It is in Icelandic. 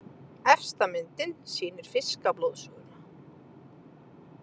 Efsta myndin sýnir fiskablóðsuguna.